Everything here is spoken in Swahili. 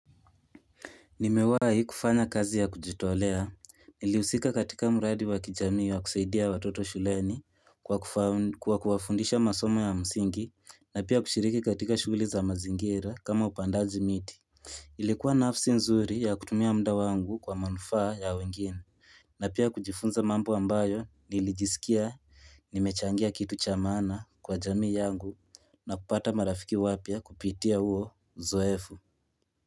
Nimewahi kufanya kazi ya kujitolea, nilihusika katika mradi wa kijami wa kusaidia watoto shuleni kwa kuwafundisha masomo ya msingi, na pia kushiriki katika shughuli za mazingira kama upandaji miti. Ilikuwa nafsi nzuri ya kutumia muda wangu kwa manufaa ya wengine. Na pia kujifunza mambo ambayo nilijisikia nimechangia kitu cha maana kwa jamii yangu na kupata marafiki wapya kupitia huo uzoefu.